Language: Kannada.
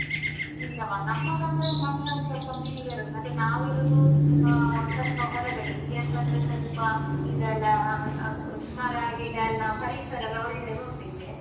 ಇಲ್ಲವಾ, ನಮ್ಮದಂದ್ರೆ ಮನೆ ಒಂದ್ಸೊಲ್ಪ ಮೇಲೆ ಇರುದು ಮತ್ತೆ ನಾವಿರುದು ಆ ಸ್ವಲ್ಪ ಹೊರಗಡೆ, ಇಲ್ಲಿ ಅಂತಂದ್ರೆ ಸ್ವಲ್ಪ ಇದೆಲ್ಲ ಮರ ಗಿಡ ಎಲ್ಲ ಪರಿಸರ ಎಲ್ಲ ಒಳ್ಳೇದು ಉಂಟಿಲ್ಲಿ.